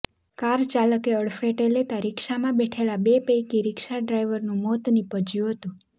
car ચાલકે અડફેટે લેતા રિક્ષામાં બેઠેલા બે પૈકી રિક્ષા ડ્રાઈવરનું મોત નીજપ્યું હતું